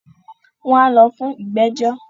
wọn á lọ fún “Ìgbẹ́jọ́”.